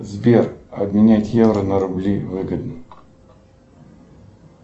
сбер обменять евро на рубли выгодно